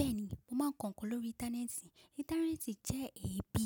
Bẹ́ẹ̀ni, mo máa ń kọ nǹkan lórí Íńtánẹ́ẹ̀tì. Íńtánẹ́ẹ̀tì jẹ́ ibi